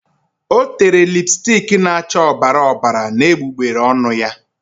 O tere lipstiki na-acha ọbara ọbara n'egbugbere ọnụ ya.